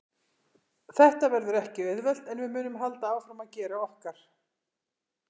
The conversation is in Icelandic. Þetta verður ekki auðvelt en við munum halda áfram að gera okkar.